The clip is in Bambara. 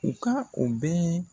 U ka o bɛɛ